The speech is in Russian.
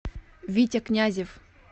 витя князев